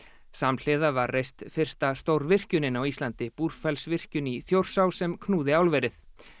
samhliða var reist fyrsta stórvirkjunin á Íslandi Búrfellsvirkjun í Þjórsá sem knúði álverið